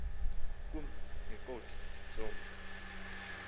kum ngeengqoth zomzi